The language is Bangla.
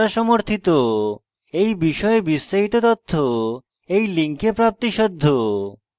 এই বিষয়ে বিস্তারিত তথ্য এই লিঙ্কে প্রাপ্তিসাধ্য